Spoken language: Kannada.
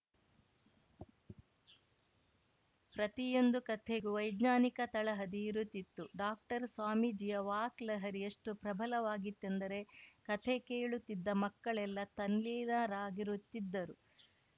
ಪ್ರತಿಯೊಂದು ಕಥೆಗೂ ವೈಜ್ಞಾನಿಕ ತಳಹದಿ ಇರುತ್ತಿತ್ತು ಡಾಕ್ಟರ್‌ ಸ್ವಾಮೀಜಿಯ ವಾಕ್‌ ಲಹರಿ ಎಷ್ಟುಪ್ರಭಲವಾಗಿತ್ತೆಂದರೆ ಕಥೆ ಕೇಳುತ್ತಿದ್ದ ಮಕ್ಕಳೆಲ್ಲ ತಲ್ಲೀನರಾಗಿರುತ್ತಿದ್ದರು